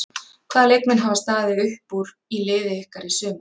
Hvaða leikmenn hafa staðið upp úr í liði ykkar í sumar?